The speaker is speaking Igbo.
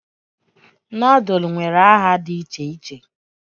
Nodul nwere aha di iche iche